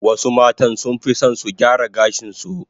Wasu matan sunfi son su gyara gashin su